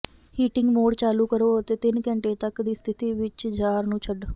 heating mode ਚਾਲੂ ਕਰੋ ਅਤੇ ਤਿੰਨ ਘੰਟੇ ਤੱਕ ਦੀ ਸਥਿਤੀ ਵਿੱਚ ਜਾਰ ਨੂੰ ਛੱਡ